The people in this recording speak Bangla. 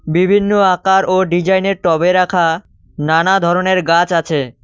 বিভিন্ন আকার ও ডিজাইনের টবে রাখা নানা ধরনের গাছ আছে।